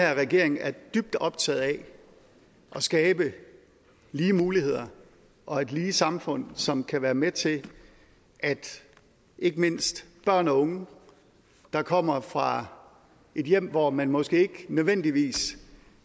her regering er dybt optaget af at skabe lige muligheder og et lige samfund som kan være med til at ikke mindst børn og unge der kommer fra et hjem hvor man måske ikke nødvendigvis